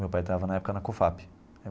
Meu pai estava na época na Cofap.